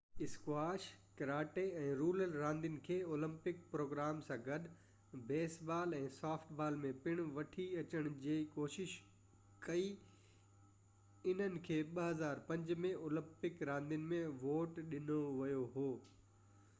squash karate ۽ roller راندين کي Olympic programme سان گڏ بيس بال ۽ سافٽ بال ۾ پڻ وٺي اچڻ جي ڪوشش ڪئي انهن کي 2005 ۾ اولمپڪ راندين ۾ ووٽ ڏنو ويو هو